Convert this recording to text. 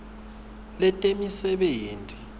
letemisebenti